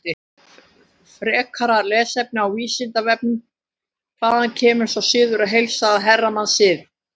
Frekara lesefni á Vísindavefnum: Hvaðan kemur sá siður að heilsa að hermannasið?